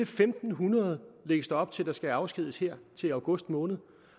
fem hundrede lægges der op til at der skal afskediges her i august måned